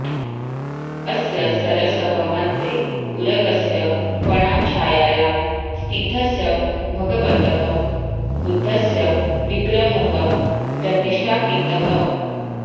अस्य सरसः मध्ये उरगस्य फणाछायायां स्थितस्य भगवतः बुद्धस्य विग्रहः प्रतिष्ठापितः